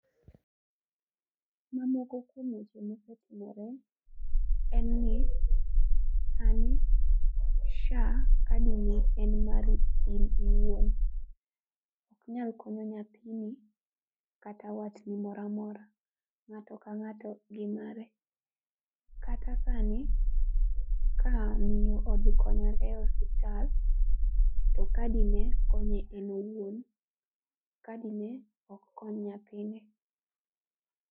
Mamoko kuom weche mosetimore en ni sani SHA kadi ni en mari in iwuon, ok inyal konyo nyathini kata watni moro amora, ngato ka ngato gi mare. Kata sani ka miyo odhi konyore e osiptal to kadi ne konye en owuon, kadi ne ok kony nyathine.